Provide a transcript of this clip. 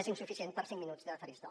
és insuficient per a cinc minuts de faristol